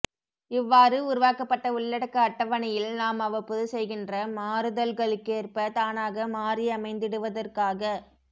இவ்வாறு உருவாக்கப்பட்ட உள்ளடக்க அட்டவணையில் நாம்அவ்வப்போது செய்கின்ற மாறுதல்களுக்ககேற்ப தானாக மாறியமைந்திடுவதற்காக